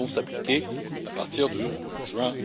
Elles vont s'appliquer à partir de